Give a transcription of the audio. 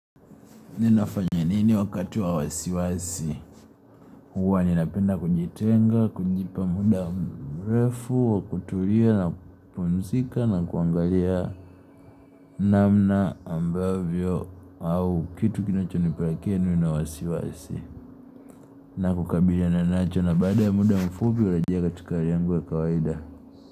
Ninafanya nini wakati wa wasiwasi? Huwa ninapenda kujitenga kujipa muda mrefu wa kutulia na kupumzika na kuangalia namna ambavyo au kitu kinacho nipelakea niwe na wasiwasi na kukabiliana nacho na baada ya muda mfupi ulajiega tu katika hali yangu ya kawaida.